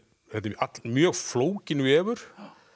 þetta er mjög flókinn vefur